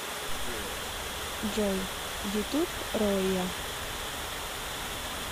джой ютуб ройя